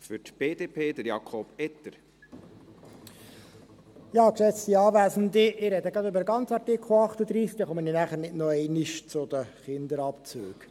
Ich spreche gleich zum ganzen Artikel 38, sodass ich nachher nicht noch einmal wegen der Kinderabzüge ans Rednerpult trete.